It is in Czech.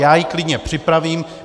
Já ji klidně připravím.